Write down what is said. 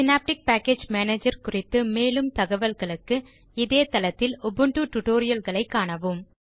synaptic package manager குறித்து மேலும் தகவல்களுக்கு இதே தளத்தில் உபுண்டு லினக்ஸ் Tutorialகளை காணவும்